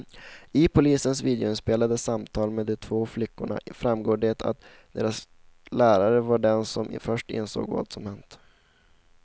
I polisens videoinspelade samtal med de två flickorna framgår det att deras lärare var den som först insåg vad som hänt.